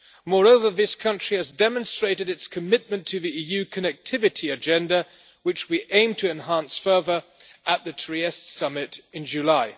Moreover, this country has demonstrated its commitment to the EU connectivity agenda, which we aim to enhance further at the Trieste summit in July.